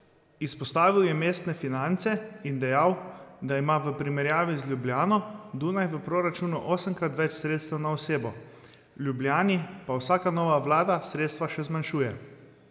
Izpostavil je mestne finance in dejal, da ima v primerjavi z Ljubljano Dunaj v proračunu osemkrat več sredstev na osebo, Ljubljani pa vsaka nova vlada sredstva še zmanjšuje.